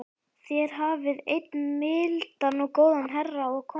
Þér hafið einn mildan og góðan herra og kóng.